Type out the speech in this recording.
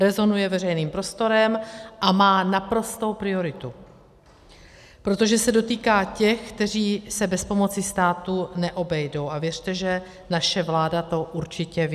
Rezonuje veřejným prostorem a má naprostou prioritu, protože se dotýká těch, kteří se bez pomoci státu neobejdou, a věřte, že naše vláda to určitě ví.